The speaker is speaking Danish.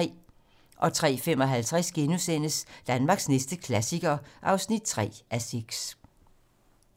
03:56: Danmarks næste klassiker (3:6)*